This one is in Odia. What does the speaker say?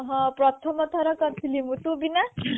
ପ୍ରଥମ ଥର କରିଥିଲି ତୁ ବି ନା